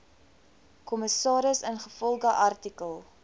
kommissaris ingevolge artikel